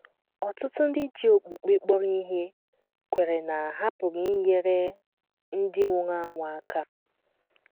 Ọtụtụ ndị ji okpukpe kpọrọ ihe kweere na ha pụrụ inyere ndị nwụrụ anwụ aka.